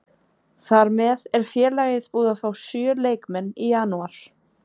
Þar með er félagið búið að fá sjö leikmenn í janúar.